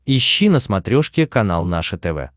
ищи на смотрешке канал наше тв